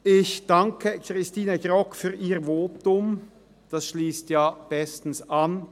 Ich danke Christine Grogg für ihr Votum, das schliesst ja bestens an.